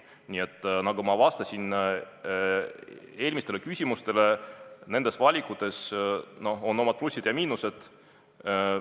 Nii et nagu ma vastasin eelmistele küsimustele: nendel valikutel on omad plussid ja miinused.